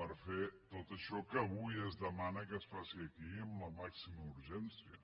per fer tot això que avui es demana que es faci aquí amb la màxima urgència